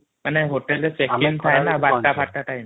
hotel ରେ checking ଥାଏ ନା ୧୨ ଟା ଫର୍ଟ time |